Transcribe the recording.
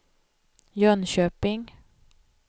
Jönköping